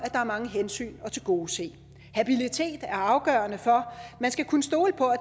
er mange hensyn at tilgodese habilitet er afgørende for man skal kunne stole på at